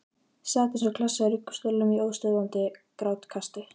Sat eins og klessa í ruggustólnum í óstöðvandi grátkasti.